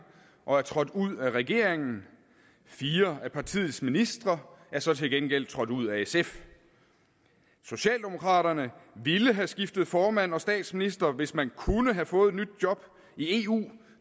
og er trådt ud af regeringen fire af partiets ministre er så til gengæld trådt ud af sf socialdemokraterne ville have skiftet formand og statsminister hvis man kunne have fået et nyt job i eu